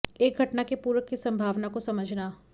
एक घटना के पूरक की संभावना को समझना